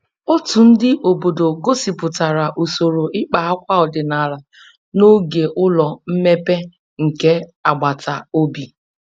Otu ndị obodo gosipụtara usoro ịkpa akwa ọdịnala n'oge ụlọ mmepe nke agbata obi